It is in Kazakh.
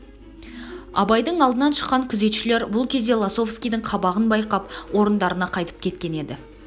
абайдың алдынан шыққан күзетшілер бұл кезде лосовскийдің қабағын байқап орындарына қайтып кеткен еді